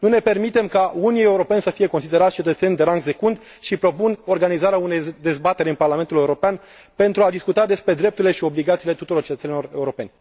Nu ne permitem ca unii europeni să fie considerați cetățeni de rang secund și propun organizarea unei dezbateri în Parlamentul European, pentru a discuta despre drepturile și obligațiile tuturor cetățenilor europeni.